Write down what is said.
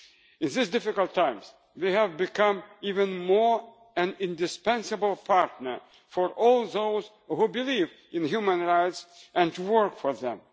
interest. In these difficult times, we have become an even more indispensable partner for all those who believe in human rights and work